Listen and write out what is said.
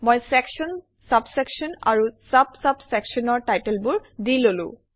মই section sub section আৰু sub sub চেকচনৰ টাইটেলবোৰ দি ললো